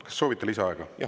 Kas soovite lisaaega?